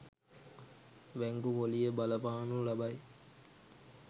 බැංකු පොලිය බලපානු ලබයි.